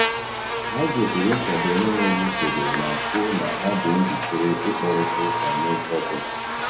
Ha gosiri nkwado n’enweghị usoro ma kwuo na ha dị njikere ịkparịta ụka n’oge ọ bụla.